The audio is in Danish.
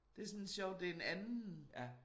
Det sådan sjovt det en anden